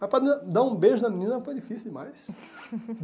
Mas para dar um beijo na menina foi difícil demais.